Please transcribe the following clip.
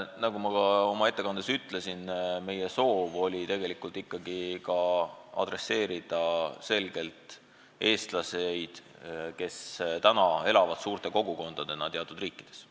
Nagu ma oma ettekandes ütlesin, meie soov oli tegelikult pöörduda selgelt eestlaste poole, kes elavad suurte kogukondadena teatud riikides.